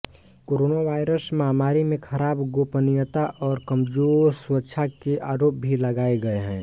coronavirus महामारी में खराब गोपनीयता और कमजोर सुरक्षा के आरोप भी लगाऐ गये है